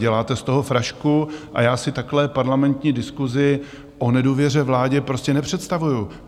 Děláte z toho frašku a já si takto parlamentní diskusi o nedůvěře vládě prostě nepředstavuji.